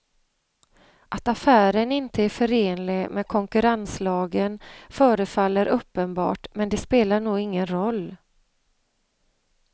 Att affären inte är förenlig med konkurrenslagen förefaller uppenbart men det spelar nog ingen roll.